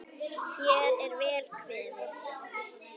Hér er vel kveðið!